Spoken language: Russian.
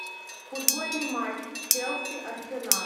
футбольный матч челси арсенал